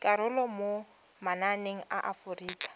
karolo mo mananeng a aforika